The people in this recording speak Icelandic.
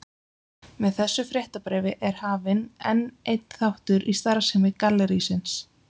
Með þessu fréttabréfi er hafinn enn einn þáttur í starfsemi gallerísins.